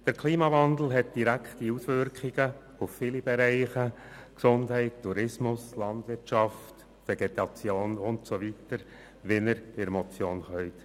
Der Klimawandel hat direkte Auswirkungen auf viele Bereiche: Gesundheit, Tourismus, Landwirtschaft, Vegetation und so weiter, wie Sie in der Motion lesen können.